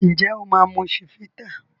Njé o ma mu Chivita?